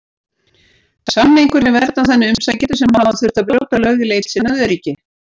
Samningurinn verndar þannig umsækjendur sem hafa þurft að brjóta lög í leit sinni að öryggi.